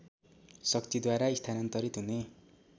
शक्तिद्वारा स्थानान्तरित हुने